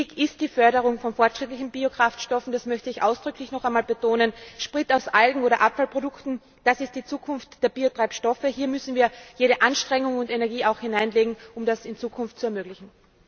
Wichtig ist die Förderung von fortschrittlichen Biokraftstoffen, das möchte ich ausdrücklich noch einmal betonen. Sprit aus Algen oder Abfallprodukten, das ist die Zukunft der Biotreibstoffe. Hier müssen wir auch jede Anstrengung und Energie hineinlegen, um das in Zukunft zu ermöglichen.